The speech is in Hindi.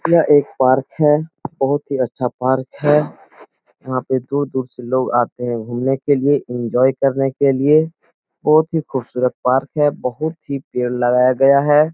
यह एक पार्क है बहुत ही अच्छा पार्क है यहां पे दूर-दूर से लोग आते है घूमने के लिए एन्जॉय करने के लिए बहुत ही खूबसूरत पार्क है बहुत ही पेड़ लगाया गया है।